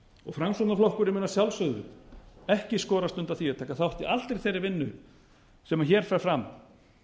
og framsóknarflokkurinn mun að sjálfsögðu ekki skorast undan því að taka þátt i allri þeirri vinnu sem hér fer fram